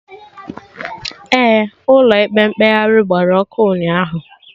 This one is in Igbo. Ee, Ụlọ ikpe mkpegharị gbara ọkụ ụnyaahụ